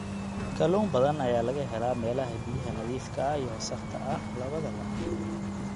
Kalluun badan ayaa laga helaa meelaha biyaha nadiifka ah iyo wasakhda ah labadaba.